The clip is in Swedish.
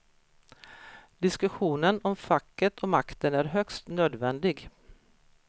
Diskussionen om facket och makten är högst nödvändig.